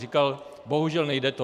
Říkal bohužel, nejde to.